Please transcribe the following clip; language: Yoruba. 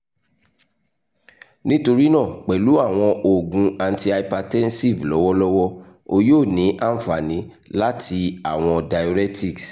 nitorina pẹlu awọn oogun antihypertensive lọwọlọwọ o yoo ni anfani lati awọn ]diuretics